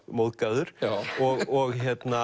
móðgaður og